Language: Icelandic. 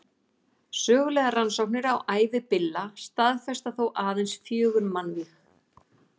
Ég gekk meira að segja svo langt að sækja um starf hjá bandarísku geimferðastofnuninni, NASA.